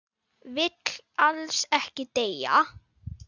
Vill alls ekki deyja.